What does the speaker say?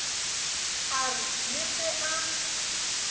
a re le ge a